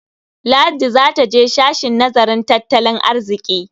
Ladi za ta je sashen nazarin tattalin arziƙi.